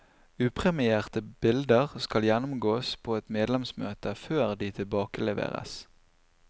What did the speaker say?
Upremierte bilder skal gjennomgås på et medlemsmøte før de tilbakeleveres.